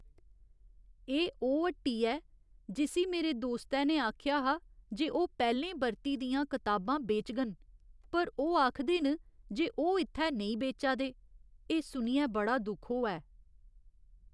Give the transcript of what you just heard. एह् ओह् हट्टी ऐ जिस्सी मेरे दोस्तै ने आखेआ हा जे ओह् पैह्‌लें बरती दियां कताबां बेचङन पर ओह् आखदे न जे ओह् इत्थै नेईं बेचा दे । एह् सुनियै बड़ा दुख होआ ऐ।